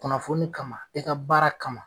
Kunnafoni kama i ka baara kama.